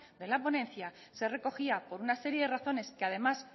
de la ponencia se recogía por una serie de razones que además